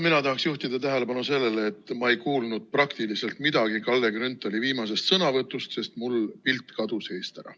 Mina tahan juhtida tähelepanu sellele, et ma ei kuulnud praktiliselt midagi Kalle Grünthali viimasest sõnavõtust, sest mul kadus pilt eest ära.